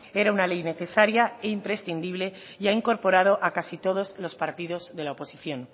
era una ley necesaria e imprescindible y ha incorporado a casi todos los partidos de la oposición